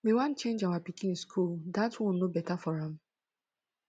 we wan change our pikin school dat one no beta for am